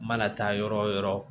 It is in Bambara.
Mana taa yɔrɔ wo yɔrɔ